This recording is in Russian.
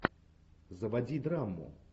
заводи драму